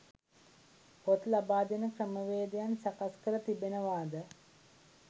පොත් ලබා දෙන ක්‍රමවේදයන් සකස් කර තිබෙනවාද?